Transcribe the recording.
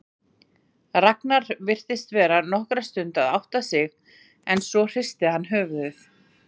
Ragnar virtist vera nokkra stund að átta sig en svo hristi hann höfuðið.